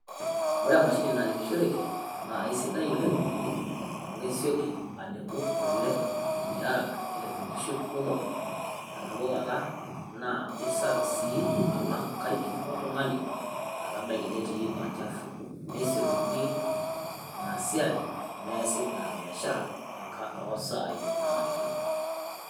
Ore emashini nalepushoreki naa keisidai oleng amu kesioki alepu kule tiaraka. Nelep nkishu kumok te nabo kata naa ai safi sii alang inkaik oltung`ani laa kebaiki netii olchafu. Nesiokini ina siai neasi ina biashara too saai naanarikino.